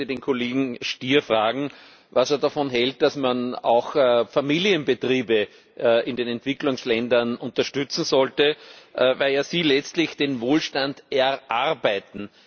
Ich möchte den Kollegen Stier fragen, was er davon hält, dass man auch Familienbetriebe in den Entwicklungsländern unterstützen sollte, weil ja sie letztlich den Wohlstand erarbeiten.